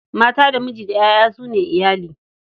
Mata da miji da ƴaƴa su ne iyali.